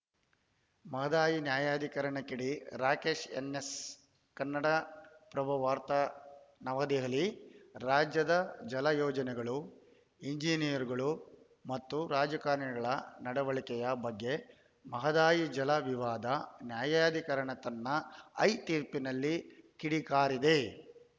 ಮಹದಾಯಿ ನ್ಯಾಯಾಧಿಕರಣ ಕಿಡಿ Rakesh N S Kannada Prabha ವಾರ್ತೆ ನವದೆಹಲಿ ರಾಜ್ಯದ ಜಲ ಯೋಜನೆಗಳು ಇಂಜಿನಿಯರ್‌ಗಳು ಮತ್ತು ರಾಜಕಾರಣಿಗಳ ನಡವಳಿಕೆಯ ಬಗ್ಗೆ ಮಹದಾಯಿ ಜಲ ವಿವಾದ ನ್ಯಾಯಾಧಿಕರಣ ತನ್ನ ಐ ತೀರ್ಪಿನಲ್ಲಿ ಕಿಡಿಕಾರಿದೆ